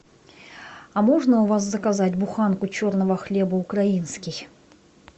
а можно у вас заказать буханку черного хлеба украинский